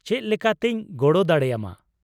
-ᱪᱮᱫ ᱞᱮᱠᱟᱛᱤᱧ ᱜᱚᱲᱚ ᱫᱟᱲᱮᱭᱟᱢᱟ ?